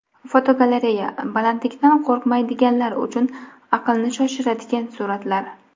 Fotogalereya: Balandlikdan qo‘rqmaydiganlar uchun aqlni shoshiradigan suratlar.